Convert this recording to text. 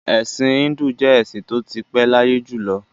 Ẹ̀sìn Híńdù jẹ́ ẹ̀sìn tó ti pé láyé jù lọ.